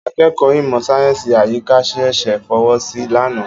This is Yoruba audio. Akẹ́kọ̀ọ́ ìmọ̀ sáyẹ́sì àyíká ṣẹ̀ṣẹ̀ fọwọ́ sí i lánàá.